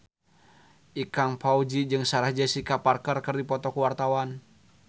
Ikang Fawzi jeung Sarah Jessica Parker keur dipoto ku wartawan